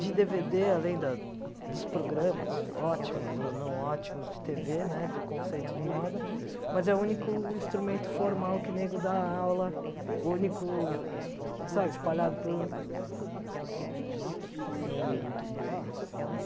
de dê vê dê, além da dos programas ótimos ou não ótimos de tê vê, né, de conceito de moda, mas é o único instrumento formal que nego da aula, o único, sabe, espalhado pelo... Você disse que não lembra muito bem, assim, do...